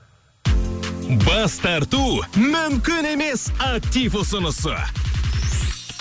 бас тарту мүмкін емес актив ұсынысы